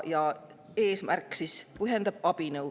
Eesmärk pühendab abinõu.